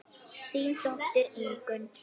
Þín dóttir Ingunn.